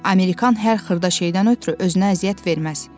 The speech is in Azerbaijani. Amerikann hər xırda şeydən ötrü özünə əziyyət verməz.